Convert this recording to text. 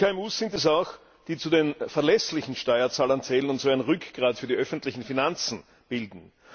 Die KMU sind es auch, die zu den verlässlichen Steuerzahlern zählen und so ein Rückgrat für die öffentlichen Finanzen bilden.